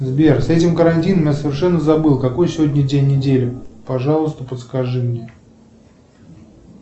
сбер с этим карантином я совершенно забыл какой сегодня день недели пожалуйста подскажи мне